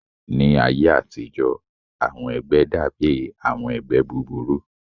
Ní ayé àtijọ́, àwọn ẹgbẹ́ dàbí àwọn ẹgbẹ́ búburú